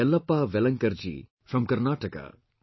Yellappa Velankar Ji from Karnataka